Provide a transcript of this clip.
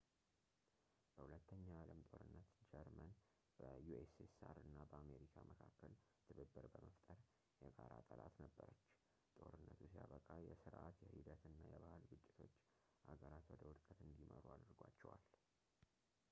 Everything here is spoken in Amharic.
በ 2 ኛው የዓለም ጦርነት ጀርመን በ ussr እና በአሜሪካ መካከል ትብብር በመፍጠር የጋራ ጠላት ነበረች። ጦርነቱ ሲያበቃ የሥርዓት ፣ የሂደት እና የባህል ግጭቶች አገራት ወደ ወድቀት እንዲመሩ አድርጓቸዋል